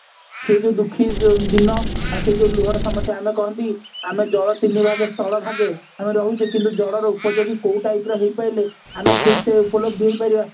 ସେଇ ଯୋଉ ଦୁଖୀ ଯୋଉ ଦିନ ଆଉ ସେଇ ଯୋଉ ଲୁହର ସମସ୍ଯା ଆମେ କହନ୍ତି ଆମେ ଜଳ ତିନି ଭାଗେ ସ୍ଥଳ ଭାଗେ ଆମେ ରହୁଛେ କିନ୍ତୁ ଜଳର ଉପଯୋଗୀ କୋଉ type ର ହେଇପାରିଲେ ଆମେ ଠିକ ସେ ଉପଲବ୍ଧି ହେଇ ପାରିବା